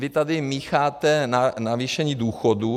Vy tady mícháte navýšení důchodů.